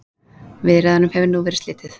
Viðræðunum hefur nú verið slitið